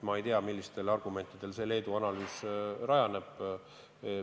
Ma ei tea, millistel argumentidel see Leedu analüüs põhineb.